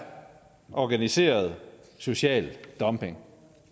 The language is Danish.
organiseret social dumping